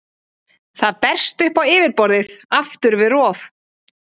Það berst upp á yfirborðið aftur við rof.